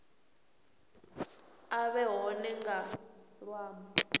a vhe hone nga ṅwambo